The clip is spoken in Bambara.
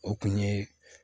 O kun ye